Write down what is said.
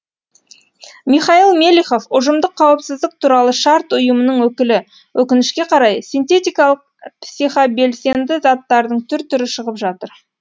михаил мелихов ұжымдық қауіпсіздік туралы шарт ұйымының өкілі өкінішке қарай синтетикалық психобелсенді заттардың түр түрі шығып жатыр